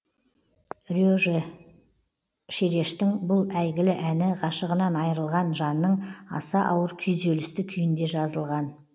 реже шерештің бұл әйгілі әні ғашығынан айырылған жанның аса ауыр күйзелісті күйінде жазылған